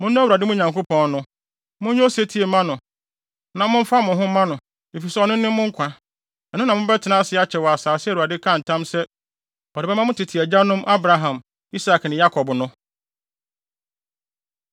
Monnɔ Awurade, mo Nyankopɔn no, monyɛ osetie mma no, na momfa mo ho mma no, efisɛ ɔno ne mo nkwa. Ɛno na mobɛtena ase akyɛ wɔ asase a Awurade kaa ntam sɛ ɔde bɛma mo tete agyanom; Abraham, Isak ne Yakob no.